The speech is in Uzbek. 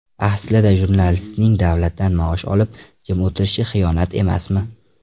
Aslida jurnalistlarning davlatdan maosh olib, jim o‘tirishi xiyonat emasmi?